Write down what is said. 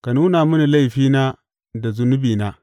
Ka nuna mini laifina da zunubina.